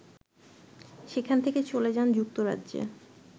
সেখান থেকে চলে যান যুক্তরাজ্যে